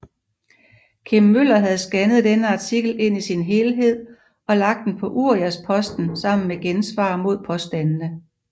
Kim Møller havde scannet denne artikel ind i sin helhed og lagt den på Uriasposten sammen med gensvar mod påstandene